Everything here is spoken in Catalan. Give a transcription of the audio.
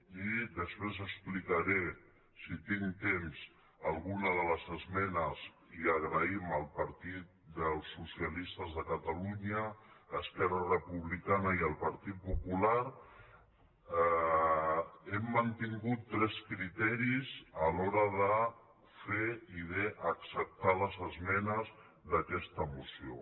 i després explicaré si tinc temps alguna de les esmenes i donem les gràcies al partit dels socialistes de catalunya esquerra republicana i el partit popular hem mantingut tres criteris a l’hora de fer i acceptar les esmenes d’aquesta moció